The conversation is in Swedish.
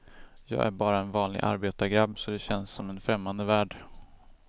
Jag är bara en vanlig arbetargrabb så det känns som en främmande värld.